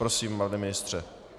Prosím, pane ministře.